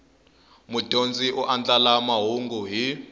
mudyondzi u andlala mahungu hi